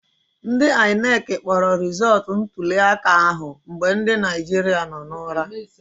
Ndị INEC kpọrọ rịzọtụ ntuliaka ahụ mgbe ndị Naijiria nọ n'ụra